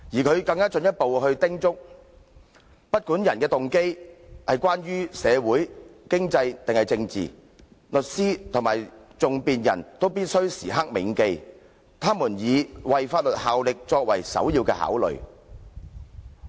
"他更進一步叮囑："不管訴諸法庭的人動機為何——無論是社會、經濟或政治上的動機——律師，或更具體而言，訟辯人必須時刻銘記他們是以為法律效力為首要考慮。